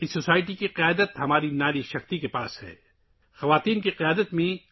اس معاشرے کی قیادت ہماری خواتین کی طاقت سے ہے